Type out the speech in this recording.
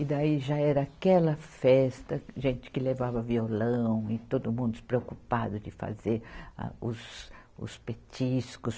E daí já era aquela festa, gente que levava violão e todo mundo despreocupado de fazer a, os, os petiscos.